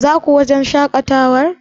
Zaku wajen shaƙatawar?